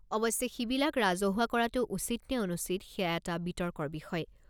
অৱশ্যে সিবিলাক ৰাজহুৱা কৰাটো উচিত নে অনুচিত সেয়া এটা বিতৰ্কৰ বিষয়।